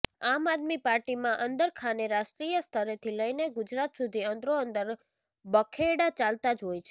આમ આદમી પાર્ટીમાં અંદરખાને રાષ્ટ્રીય સ્તરેથી લઇને ગુજરાત સુધી અંદરોઅંદર બખેડા ચાલતા જ હોય છે